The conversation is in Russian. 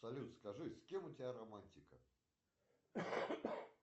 салют скажи с кем у тебя романтика